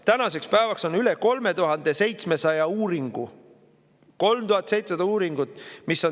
Tänaseks päevaks on üle 3700 uuringu – üle 3700 uuringu!